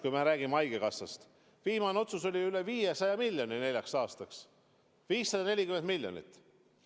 Kui me räägime haigekassast, siis viimane otsus oli üle 500 miljoni neljaks aastaks: 540 miljonit.